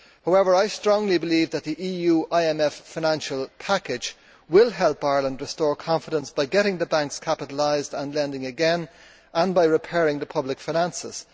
However, I strongly believe that the EU IMF financial package will help Ireland restore confidence by getting the banks capitalised and lending again, and by repairing the public finances.